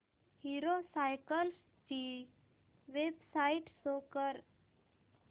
hero cycles ची website show कर